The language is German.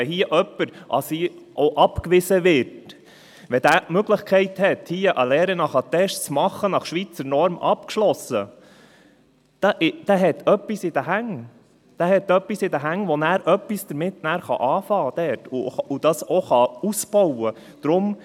Wenn hier jemand abgewiesen wird, wenn er die Möglichkeit hat, hier eine Lehre nach Attest zu machen, nach Schweizer Norm abschliesst, dann hat er etwas in den Händen, mit dem er in seinem Land etwas anfangen kann und das er auch ausbauen kann.